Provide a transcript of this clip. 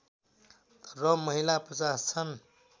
र महिला ५० छन्